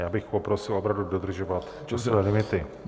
Já bych poprosil opravdu dodržovat časové limity.